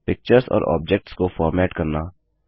pictures और objects को format करना